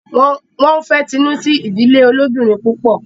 Wón fè Tinu sí ìdílé ilobirin pupọ